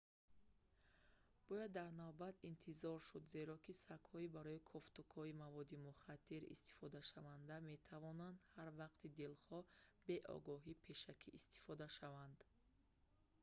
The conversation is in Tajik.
бояд дар навбат интизор шуд зеро ки сагҳои барои кофтукови маводи мухаддир истифодашаванда метавонанд ҳар вақти дилхоҳ бе огоҳии пешакӣ истифода шаванд